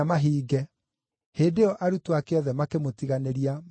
Hĩndĩ ĩyo arutwo ake othe makĩmũtiganĩria, makĩũra.